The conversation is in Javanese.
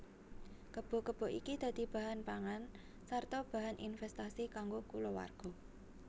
Kebo kebo iki dadi bahan pangan sarta bahan invèstasi kanggo kulawarga